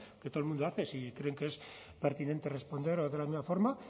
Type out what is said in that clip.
que todo el mundo hace si creen que es pertinente responder de la misma forma